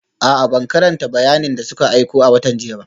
A'a, ban karanta bayanin da suka aiko a watan jiya ba